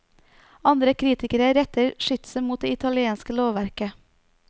Andre kritikere retter skytset mot det italienske lovverket.